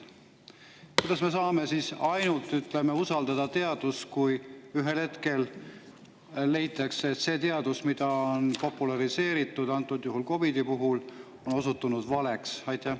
Kuidas me saame siis ainult usaldada teadust, kui ühel hetkel leitakse, et see teadus, mida on populariseeritud, antud juhul COVID-i puhul, on osutunud valeks?